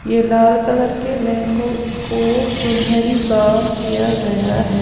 ये लाल कलर के लहंगो को सुनहरी काम किया गया है।